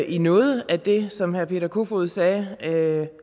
i noget af det som herre peter kofod sagde